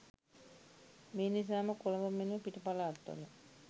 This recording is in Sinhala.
මේ නිසාම කොළඹ මෙන්ම පිට පළාත් වල